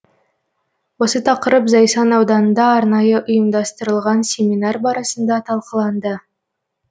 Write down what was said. осы тақырып зайсан ауданында арнайы ұйымдастырылған семинар барысында талқыланды